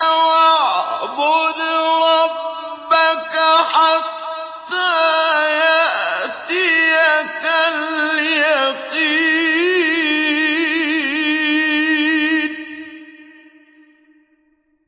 وَاعْبُدْ رَبَّكَ حَتَّىٰ يَأْتِيَكَ الْيَقِينُ